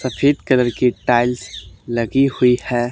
सफेद कलर की टाइल्स लगी हुई है।